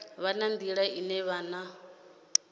vha na nḓila ine vhana